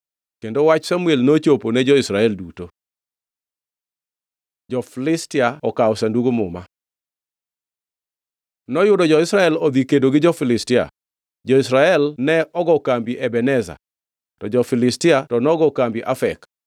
Kendo wach Samuel nochopo ne jo-Israel duto. Jo-Filistia okawo Sandug Muma Noyudo jo-Israel odhi kedo gi jo-Filistia. Jo-Israel ne ogo kambi Ebeneza to jo-Filistia to nogo kambi Afek.